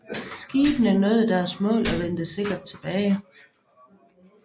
Skibene nåede deres mål og vendte sikkert tilbage